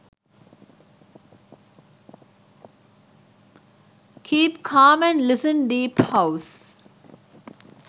keep calm and listen deep house